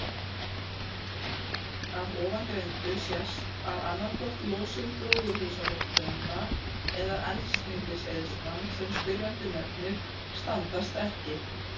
Af ofangreindu sést að annaðhvort losun gróðurhúsalofttegunda eða eldsneytiseyðslan sem spyrjandi nefnir standast ekki.